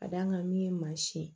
Ka d'a kan min ye mansin ye